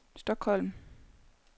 Stockholm